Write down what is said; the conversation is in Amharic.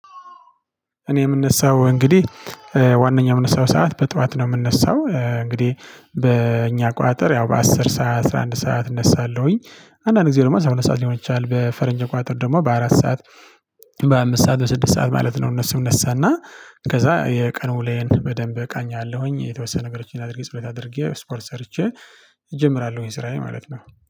እኔ የምነሳው እንግዲህ ዋነኛው የምነሳው ሰዓት በጧት ነው የምነሳው እንግዲህ በእኛ አቆጣጠር ያው በአስር ሰዓት አስራ አንድ ሰዓት እነሳለሁኝ። አንዳንድ ጊዜ ደግሞ አስራ ሁለት ሰዓት ሊሆን ይችላል በፈረንጅ አቆጣጠር ደግሞ በአራት ሰዓት። በአምስት ሰዓት በስድስት ሰዓት ማለት ነው። እነሱ እነሳና ከዛ የቀኑ ዉሎየን በደንብ እቃኛላሁኝ የተወሰነ ነገሮችን አድርጌ ጽህፈት አድርጌ ስፖርት ሰርቼ። እጀምራለሁኝ ስራዬ ማለት ነው